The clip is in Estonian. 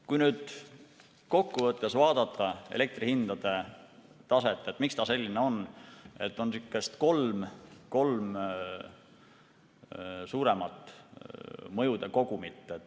Kui kokkuvõttes vaadata elektrihindade taset, miks ta selline on, siis on kolm suuremat mõjude kogumit.